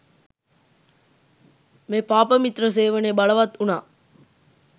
මේ පාපමිත්‍ර සේවනය බලවත් වුනා.